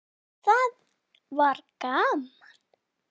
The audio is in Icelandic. Já, það var gaman!